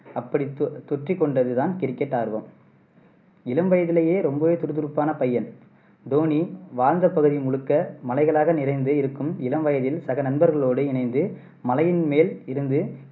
அப்படி தொ தொற்றிக்கொண்டது தான் கிரிக்கெட் ஆர்வம் இளம் வயதிலேயே ரொம்பவே துறுதுறுப்பான பையன். தோனி வாழ்ந்த பகுதி முழுக்க மலைகளாக நிறைந்து இருக்கும் இளம் வயதில் சக நண்பர்களோடு இணைந்து மலையின் மேல் இருந்து